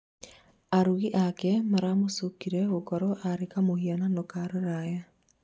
arũngi ake maramũcũkĩire gũkorwo arĩ kamũhiano ka rũraya